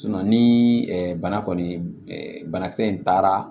ni bana kɔni banakisɛ in taara